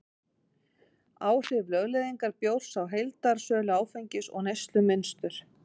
Áhrif lögleiðingar bjórs á heildarsölu áfengis og neyslumynstur